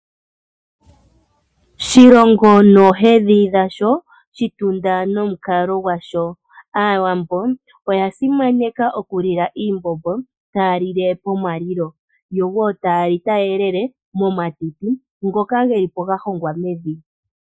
Shilongo noohedhi dhasho, Shitunda nomukalo gwasho. Aawambo oya simaneka okulila iimbombo taya lile pomalilo yowo taya li taya elele momatiti ngoka ge lipo ga hongwa mevi.